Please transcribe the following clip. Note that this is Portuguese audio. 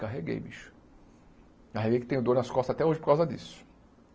Carreguei bicho carreguei que tenho dor nas costas até hoje por causa disso.